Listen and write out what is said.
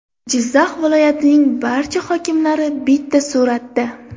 Jizzax viloyatining barcha hokimlari bitta suratda.